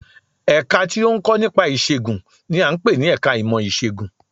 Ẹ̀ka tí ó ń kọ́ nípa ìṣègùn n i à ń pè ní ẹka ìmọ̀ Ìṣègùn